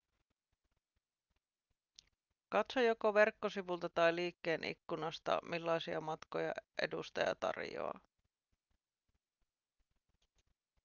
katso joko verkkosivulta tai liikkeen ikkunasta millaisia matkoja edustaja tarjoaa